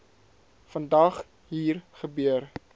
vandag hier gebeur